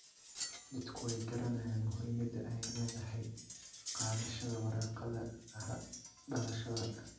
Dadku way garanayaan muhiimada ay leedahay qaadashada warqadaha dhalashada.